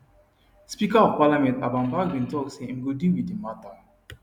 speaker of parliament alban bagbin tok say im go deal wit di mata